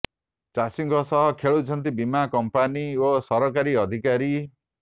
ଚାଷୀଙ୍କ ସହ ଖେଳୁଛନ୍ତି ବୀମା କମ୍ପାନୀ ଓ ସରକାରୀ ଅଧିକାରୀ